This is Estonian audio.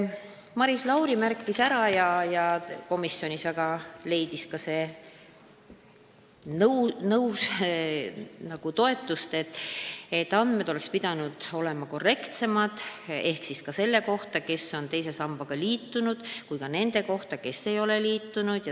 Maris Lauri avaldas arvamust ja komisjon toetas seda, et andmed ka selle kohta, kes on teise sambaga liitunud ja kes ei ole liitunud, oleks pidanud olema korrektsemad.